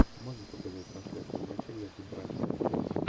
можешь показать трансляцию матча между брайтон и челси